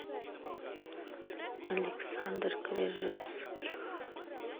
александр крижевских